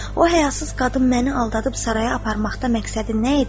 O həyasız qadın məni aldadıb saraya aparmaqda məqsədi nə idi?